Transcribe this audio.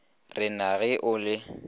re na ge o le